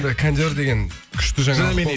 жоқ кондер деген күшті жаңалық қой